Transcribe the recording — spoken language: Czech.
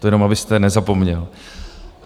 To jenom abyste nezapomněl.